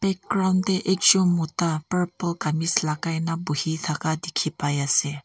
background teh ekjon mota purple kameez lagai na bohi thaka dikhi pai ase.